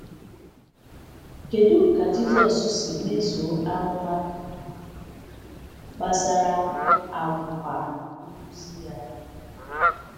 Kedu ka Jisọs si mezuo amụma gbasara àgwà nkuzi ya?